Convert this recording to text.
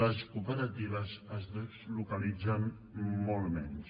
les cooperatives es deslocalitzen molt menys